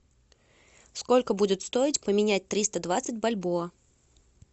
сколько будет стоить поменять триста двадцать бальбоа